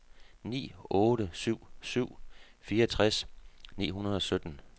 ni otte syv syv fireogtres ni hundrede og sytten